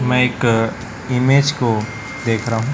मैं एक इमेज को देख रहा हूं।